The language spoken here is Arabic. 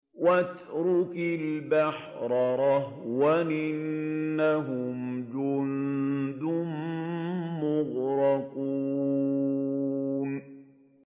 وَاتْرُكِ الْبَحْرَ رَهْوًا ۖ إِنَّهُمْ جُندٌ مُّغْرَقُونَ